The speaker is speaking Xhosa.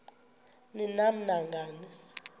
ni nam nangani